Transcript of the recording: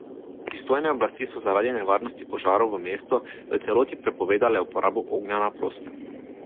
Pristojne oblasti so zaradi nevarnosti požarov v mestu v celoti prepovedale uporabo ognja na prostem.